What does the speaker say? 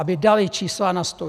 Aby dali čísla na stůl.